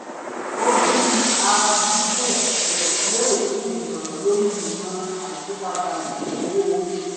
ó bi arádùúgbò rẹ̀ léèrè fún ìmọ̀ràn lórí ìmọ̀ àyípadà ìlànà owó orí tuntun